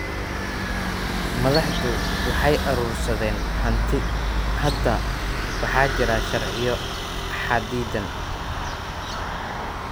Madaxdu waxay urursadeen hanti. Hadda waxaa jira sharciyo xaddidan.